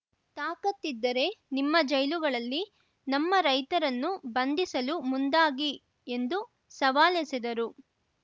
ತಾಕತ್ತಿದ್ದರೇ ನಿಮ್ಮ ಜೈಲುಗಳಲ್ಲಿ ನಮ್ಮ ರೈತರನ್ನು ಬಂಧಿಸಲು ಮುಂದಾಗಿ ಎಂದು ಸವಾಲೆಸೆದರು